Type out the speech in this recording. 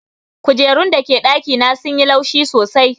Kujerun da ke dakina sun yi laushi sosai.